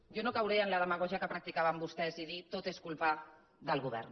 jo no cauré en la demagògia que practicaven vostès i dir tot és culpa del govern